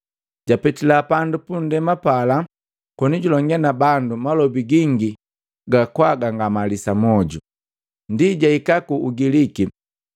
Japetila pandu punndema pala, konijulonge nabandu malobi gingi ga kwa gangamalisa moju. Ndi jahika ku Ugiliki,